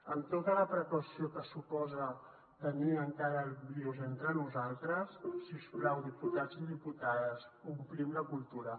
amb tota la precaució que suposa tenir encara el virus entre nosaltres si us plau diputats i diputades omplim la cultura